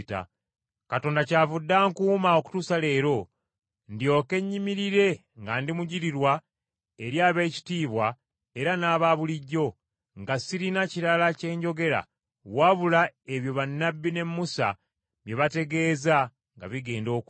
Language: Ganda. Katonda kyavudde ankuuma okutuusa leero ndyoke nyimirire nga ndi mujulirwa eri ab’ekitiibwa era n’aba bulijjo, nga sirina kirala kye njogera, wabula ebyo bannabbi ne Musa bye baategeeza nga bigenda okujja